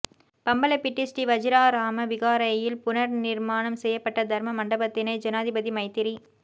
பம்பலப்பிட்டி ஸ்ரீ வஜிராராம விகாரையில் புனர்நிர்மாணம் செய்யப்பட்ட தர்ம மண்டபத்தினை ஜனாதிபதி மைத்திரி